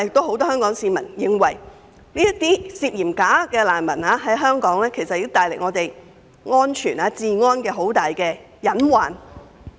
很多香港市民均認為，涉嫌屬"假難民"的聲請人對香港的安全及治安構成極大隱患。